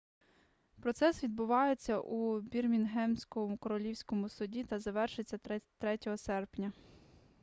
процес відбувався у бірмінгемському королівському суді та завершився 3 серпня